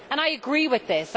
I agree with this.